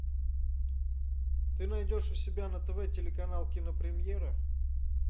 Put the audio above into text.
ты найдешь у себя на тв телеканал кинопремьера